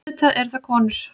Auðvitað eru það konur.